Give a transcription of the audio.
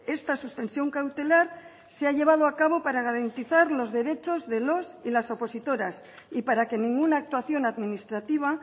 esta suspensión cautelar se ha llevado a cabo para garantizar los derechos de los y las opositoras y para que ninguna actuación administrativa